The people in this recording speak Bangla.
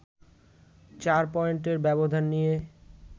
৪ পয়েন্টের ব্যবধান নিয়ে